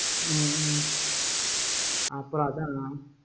ஹம் ஹம் அப்புறம் அதா